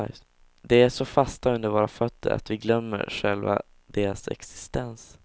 De är så fasta under våra fötter att vi glömmer själva deras existens.